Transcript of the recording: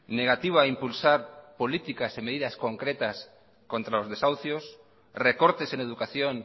negativa a impulsar políticas y medidas concretas contra los desahucios recortes en educación